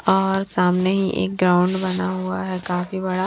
और सामने ही एक ग्राउंड बना हुआ है काफी बड़ा --